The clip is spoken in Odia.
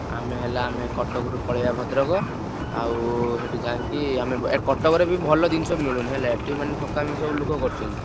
ଆମେ ହେଲା ଆମେ କଟକରୁ ପଳେଇଆ ଭଦ୍ରକ ଆଉ ସେଠି ଯାଇକି ଆମେ ଏ କଟକରେ ବି ଭଲ ଜିନିଷ ମିଳୁନି ହେଲା, ଏଠି ମନେ ଠକାମି ସବୁ ଲୋକ କରୁଛନ୍ତି।